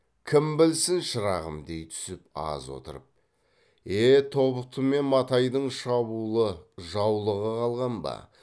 кім білсін шырағым дей түсіп аз отырып е тобықты мен матайдың шабуылы жаулығы қалған ба